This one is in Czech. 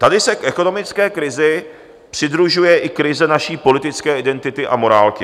Tady se k ekonomické krizi přidružuje i krize naší politické identity a morálky.